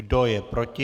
Kdo je proti?